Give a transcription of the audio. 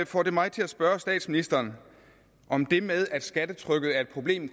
får det mig til at spørge statsministeren om det med at skattetrykket er et problem